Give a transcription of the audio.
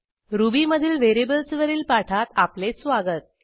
रुबीमधील व्हेरिएबल्सवरील पाठात आपले स्वागत